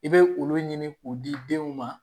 I bɛ olu ɲini k'o di denw ma